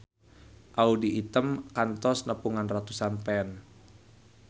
Audy Item kantos nepungan ratusan fans